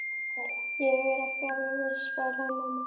Ég er ekki alveg viss svaraði mamma.